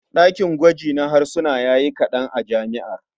Ɗakin gwaji na harsuna ya yi kaɗan a jami'ar.